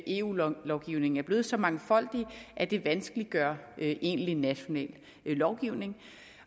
eu lovgivningen er blevet så mangfoldig at det vanskeliggør egentlig national lovgivning